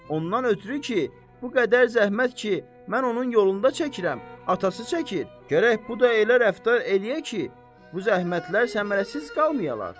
Ondan ötrü ki, bu qədər zəhmət ki, mən onun yolunda çəkirəm, atası çəkir, gərək bu da elə rəftar eləyə ki, bu zəhmətlər səmərəsiz qalmayalar.